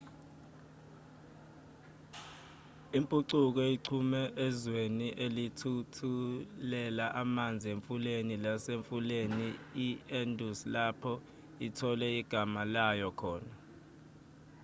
impucuko ichume ezweni elithuthelela amanzi emfuleni lasemfuleni i-indus lapho ithole igama layo khona